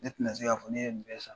Ne ti na se ka fɔ ne ye nin bɛ san.